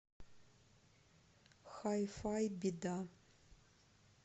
хай фай беда